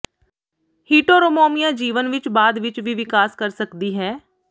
ਹਿਟੋਰੋਮੋਮੀਆ ਜੀਵਨ ਵਿਚ ਬਾਅਦ ਵਿਚ ਵੀ ਵਿਕਾਸ ਕਰ ਸਕਦੀ ਹੈ